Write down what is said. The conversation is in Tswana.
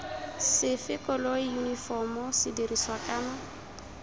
sefe koloi yunifomo sedirisiwa kana